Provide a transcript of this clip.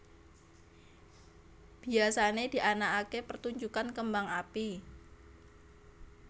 Biyasané dianakaké pertunjukan kembang api